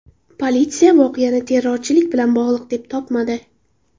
Politsiya voqeani terrorchilik bilan bog‘liq deb topmadi.